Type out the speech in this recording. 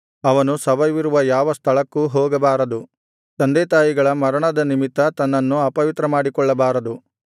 ಅವನು ಶವವಿರುವ ಯಾವ ಸ್ಥಳಕ್ಕೂ ಹೋಗಬಾರದು ತಂದೆತಾಯಿಗಳ ಮರಣದ ನಿಮಿತ್ತ ತನ್ನನ್ನು ಅಪವಿತ್ರ ಮಾಡಿಕೊಳ್ಳಬಾರದು